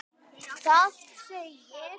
Það segir: